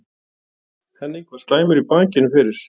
Henning var slæmur í bakinu fyrir